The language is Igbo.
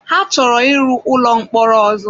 Ha chọrọ ịrụ ụlọ mkpọrọ ọzọ.